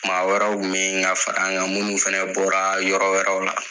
Maa wɛrɛw kun me yen ka far'an ga, minnu fɛnɛ bɔra yɔrɔ wɛrɛw la.